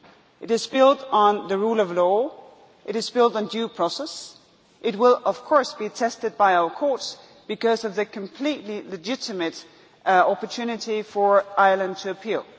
It is built on the rule of law, it is built on due process, and it will of course be tested by our courts because of the completely legitimate opportunity for Ireland to appeal.